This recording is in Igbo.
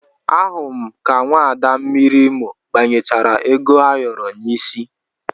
Ahụrụ m ka nwaada mmiri Imo gbanyechara ego ayoro n'isi